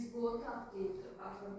Biz bu otaq deyir.